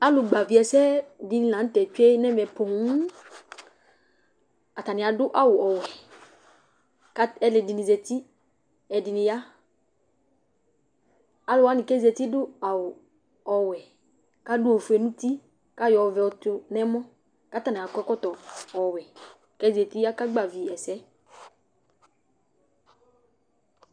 Alʋgbavɩ ɛsɛ dɩnɩ la nʋ tɛ tsue nʋ ɛvɛ poo Atanɩ adʋ awʋ ɔwɛ kʋ alʋɛdɩnɩ zati, ɛdɩnɩ ya Alʋ wanɩ kʋ azati adʋ awʋ ɔwɛ kʋ adʋ ofue nʋ uti kʋ ayɔ ɔvɛ yɔtʋ nʋ ɛmɔ kʋ atanɩ akɔ ɛkɔtɔ ɔwɛ kʋ azati, akagbavɩ ɛsɛ